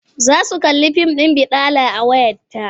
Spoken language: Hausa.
Za su kalli fim ɗin baɗala a wayarta.